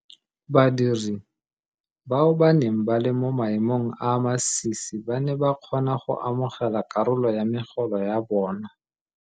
Badiri bao ba neng ba le mo maemong a a masisi ba ne ba kgona go amogela karolo ya megolo ya bona.